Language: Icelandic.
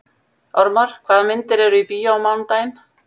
Ormar, hvaða myndir eru í bíó á mánudaginn?